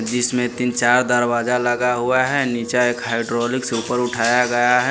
जिसमें तीन चार दरवाजा लगा हुआ है नीचे एक हाइड्रोलिक से ऊपर उठाया गया है।